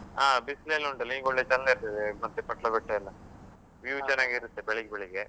ಹಾ, ಬಿಸ್ಲೇ ಎಲ್ಲಾ ಉಂಟಲ್ಲ ಈಗ ಒಳ್ಳೆ ಚಂದ ಇರ್ತದೆ ಮತ್ತೆ ಎಲ್ಲ. View ಚೆನ್ನಾಗಿರುತ್ತೆ ಬೆಳಿಗ್ಗೆ ಬೆಳಿಗ್ಗೆ.